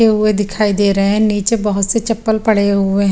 ते वो दिखाई दे रहे हे निचे बहोत से चपल पड़े हुए हैं।